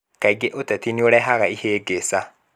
Kaingĩ ũteti nĩ ũrehaga ĩhĩngĩca.